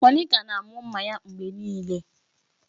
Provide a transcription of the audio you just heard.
Monica na-amụ mma ya mgbe niile.